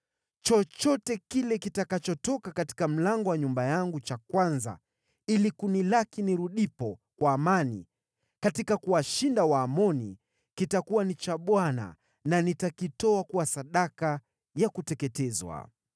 chochote kile kitakachotoka katika mlango wa nyumba yangu cha kwanza ili kunilaki nirudipo kwa amani katika kuwashinda Waamoni, kitakuwa ni cha Bwana na nitakitoa kuwa sadaka ya kuteketezwa.”